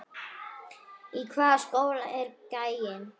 Í hvaða skóla er gæinn?